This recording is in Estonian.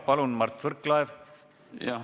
Palun, Mart Võrklaev!